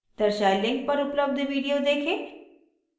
दर्शाये link पर उपलब्ध video देखें